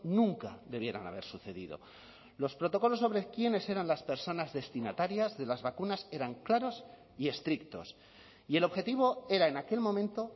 nunca debieran haber sucedido los protocolos sobre quiénes eran las personas destinatarias de las vacunas eran claros y estrictos y el objetivo era en aquel momento